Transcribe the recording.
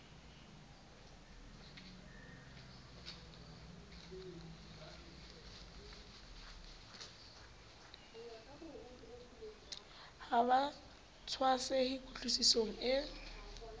ba ba tshwasehe kutlwisisong e